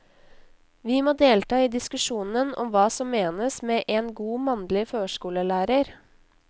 Vi må delta i diskusjonen om hva som menes med en god mannlig førskolelærer.